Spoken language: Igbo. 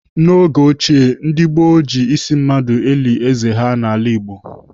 N'oge ochie ndị gboo ji ísí mmadụ eli êzé ha n'ala Igbo.